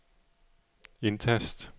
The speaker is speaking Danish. indtast